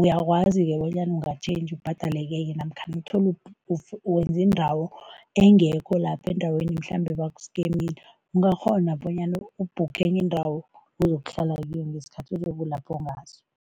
uyakwazi-ke bonyana ungatjhentjha ubhadale kwenye namkha uthole wenze indawo engekho lapho endaweni mhlambe bakuskemile, ungakghona bonyana ubhukhe enye indawo ozokuhlala kiyo ngesikhathi ozobe ulapho ngaso.